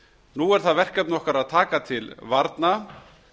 nú er það verkefni okkar að taka til varna